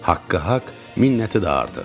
Haqqı haqq, minnəti də artıq.